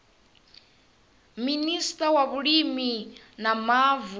minista wa vhulimi na mavu